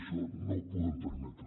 això no ho podem permetre